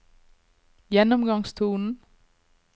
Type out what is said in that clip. gjennomgangstonen